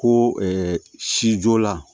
Ko sijo la